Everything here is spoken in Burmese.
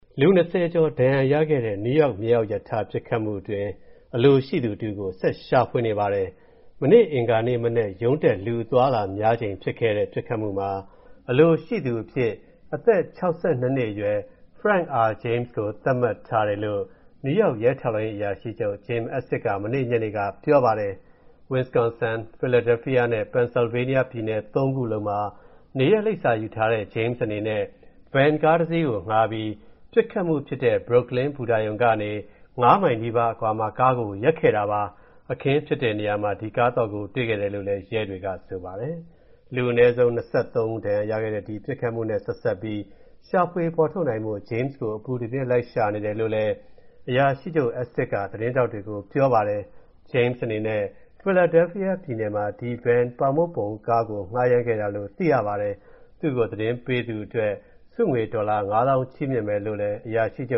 လူ ၂၀ ကျော်ဒဏ်ရာရခဲ့တဲ့ နယူးယောက် မြေအောက်ရထား ပစ်ခတ်မှုတွင်း အလိုရှိသူတဦးကို ဆက်ရှာဖွေနေပါတယ်။ မနေ့ အင်္ဂါနေ့မနက် ရုံးတက်ချိန် လူအသွားအလာများချိန်မှာ ဖြစ်ခဲ့တဲ့ပစ်ခတ်မှုမှာ အလိုရှိသူအဖြစ် အသက် ၆၂ အရွယ် Frank R James ကို သတ်မှတ်ထားတယ်လို့ နယူးယောက် ရဲထောက်လှမ်းရေးအရာရှိချုပ် Jim Essig က မနေ့ညနေက ပြောပါတယ်။ Wisconsin၊ Philadelphia နဲ့ Pennsylvania ပြည်နယ် ၃ ခုလုံးမှာ နေရပ်လိပ်စာယူထားတဲ့ James အနေနဲ့ Van ကားတစီးကို ငှားပြီး ပစ်ခတ်မှုဖြစ်တဲ့ Brooklyn ဘူတာရုံကနေ ၅ မိုင်နီးပါးအကွာမှာ ကားကိုရပ်ခဲ့တာပါ။ အခင်းဖြစ်တဲ့နေရာမှာ ဒီကားသော့ကို တွေ့ခဲ့ရတယ်လို့လည်း ရဲတွေက ဆိုပါတယ်။ အနည်းဆုံး လူ ၂၃ ဦး ဒဏ်ရာရခဲ့တဲ့ ဒီ ပစ်ခတ်မှုနဲ့ ဆက်စပ်ပြီး ရှာဖွေဖော်ထုတ်နိုင်ဖို့ James ကို အပူတပြင်း လိုက်ရှာနေတယ်လို့လည်း အရာရှိချုပ် Essig က သတင်းထောက်တွေကိုပြောပါတယ်။ James အနေနဲ့ Philadephia ပြည်နယ်မှာ ဒီ Van ပေါင်မုန့်ပုံကားကိုငှားရမ်းခဲ့တာလို့ သိရပါတယ်။ သူ့ကို သတင်းပေးသူအတွက် ဆုငွေ ဒေါ်လာ ၅ သောင်းချီးမြှင့်မယ်လို့ အရာရှိချု